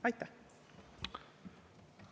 Aitäh!